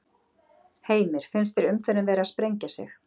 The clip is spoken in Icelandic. Heimir: Finnst þér umferðin vera að sprengja sig?